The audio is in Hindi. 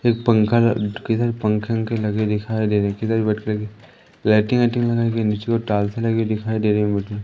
एक पंखा किधर पंखे ओंखे के लगे दिखाई दे रहे किधर भी बैठकर के लाइटिंग लगाई गयी नीचे ओ टाल्से दिखाई दे रही मुझे।